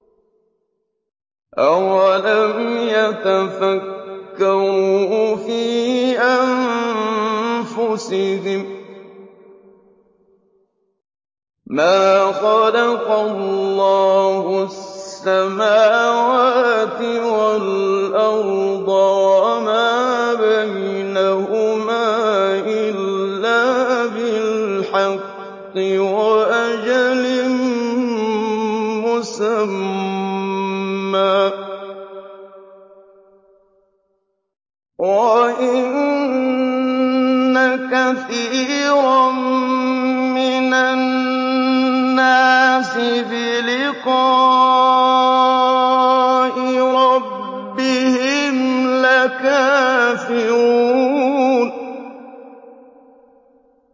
أَوَلَمْ يَتَفَكَّرُوا فِي أَنفُسِهِم ۗ مَّا خَلَقَ اللَّهُ السَّمَاوَاتِ وَالْأَرْضَ وَمَا بَيْنَهُمَا إِلَّا بِالْحَقِّ وَأَجَلٍ مُّسَمًّى ۗ وَإِنَّ كَثِيرًا مِّنَ النَّاسِ بِلِقَاءِ رَبِّهِمْ لَكَافِرُونَ